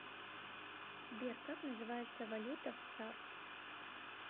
сбер как называется валюта в цар